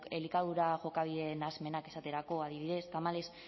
elikadura jokabide nahasmenak esaterako adibidez tamalez